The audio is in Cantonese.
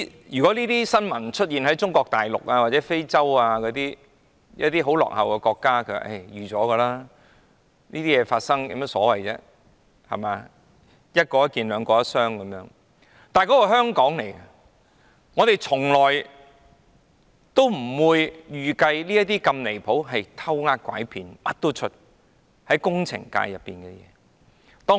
如果這些事件發生在中國大陸、非洲或一些落後國家，或許尚且是意料之內，但這些事件竟然在香港發生，我們從來不會預計這麼離譜、涉及"偷呃拐騙"的事會在我們的工程界出現。